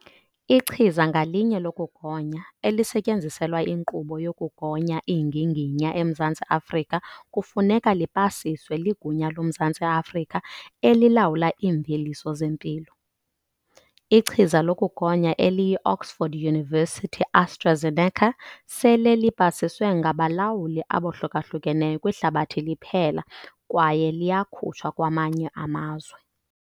Ichiza ngalinye lokugonya elisetyenziselwa inkqubo yokugonya iinginginya eMzantsi Afrika kufuneka lipasiswe liGunya loMzantsi Afrika eliLawula iiMveliso zeMpilo. Ichiza lokugonya eliyi-Oxford University-AstraZeneca sele lipasiswe ngabalawuli abohluka hlukeneyo kwihlabathi liphela kwaye liyakutshwa kwamanye amazwe.